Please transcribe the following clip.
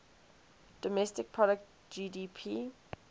domestic product gdp